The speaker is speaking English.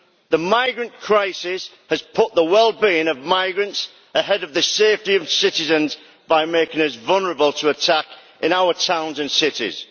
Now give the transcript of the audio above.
The migrant crisis has put the well being of migrants ahead of the safety of its citizens by making us vulnerable to attack in our towns and cities.